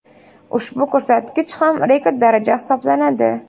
Ushbu ko‘rsatkich ham rekord daraja hisoblanadi.